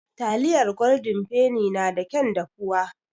Taliyar Goldin feni na da kyan dafuwa.